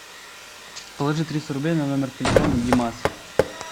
положи триста рублей на номер телефона димас